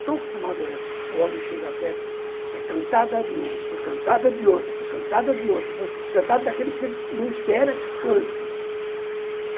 Estou acostumado, o homem chega perto, é cantada de um, cantada de outro, cantada daquele que você não espera que cante.